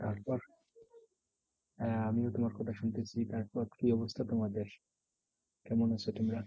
তারপর আহ আমিও তোমার কথা শুনতেছি। তারপর কি অবস্থা তোমাদের? কেমন আছো তোমরা?